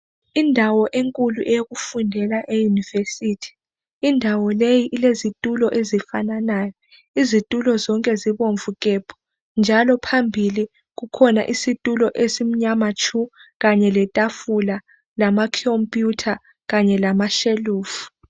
Indawo enkulu eyokufundela eYunivesi .Indawo leyi ilezitulo ezifananayo .Izitulo zonke zibomvu gebhu njalo phambili kukhona isitulo esimnyama tshu kanye letafula, kanye lekhompiyutha kanye lama shelufu.